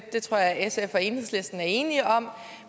det tror jeg at sf og enhedslisten er enige om